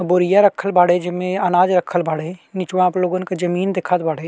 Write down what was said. बोरिया रखल बाड़े। जिमे अनाज रखल बाड़े। निचवा आपलोगन जमीन दिखत बाड़े।